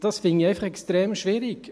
Dies finde ich extrem schwierig.